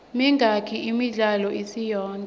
mingaki imidlalo isiyonke